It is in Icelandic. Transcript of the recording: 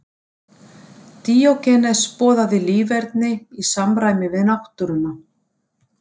Díógenes boðaði líferni í samræmi við náttúruna.